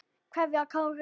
Kveðja, Kári.